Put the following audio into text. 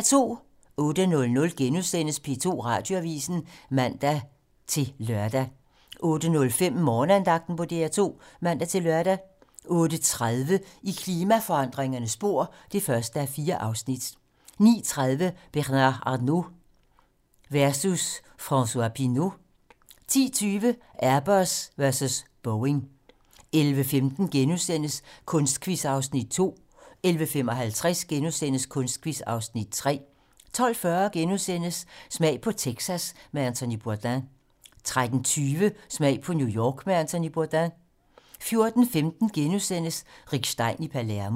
08:00: P2 Radioavisen *(man-lør) 08:05: Morgenandagten på DR2 (man-lør) 08:30: I klimaforandringernes spor (1:4) 09:30: Bernard Arnault versus François Pinault 10:20: Airbus versus Boeing 11:15: Kunstquiz (Afs. 2)* 11:55: Kunstquiz (Afs. 3)* 12:40: Smag på Texas med Anthony Bourdain * 13:20: Smag på New York med Anthony Bourdain 14:15: Rick Stein i Palermo *